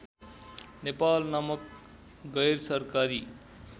नेपाल नामक गैरसरकारी